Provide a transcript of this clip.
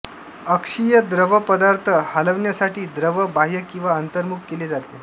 अक्षीय द्रवपदार्थ हलविण्यासाठी द्रव बाह्य किंवा अंतर्मुख केले जाते